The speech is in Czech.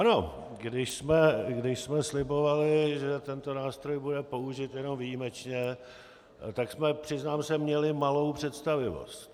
Ano, když jsme slibovali, že tento nástroj bude použit jenom výjimečně, tak jsme, přiznám se, měli malou představivost.